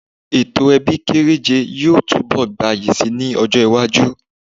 Ètò ebí kéréje yóò túnbọ gbayi si ní ọjọ́-iwájú.